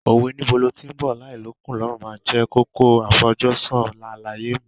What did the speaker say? Òwe "Níbo lo tí ń bọ̀ láì l'ókùn l'ọ́rùn" máa jẹ́ kókó àfojúsùn àlàyé mi.